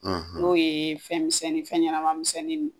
N'o ye fɛn misɛnnin fɛn ɲɛnɛma misɛnnin nu